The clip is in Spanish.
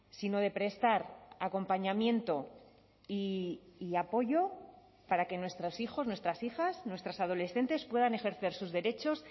sino de prestar acompañamiento y apoyo para que nuestros hijos nuestras hijas nuestras adolescentes puedan ejercer sus derechos